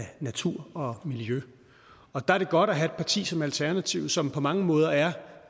natur og miljø og der er det godt at have et parti som alternativet som på mange måder er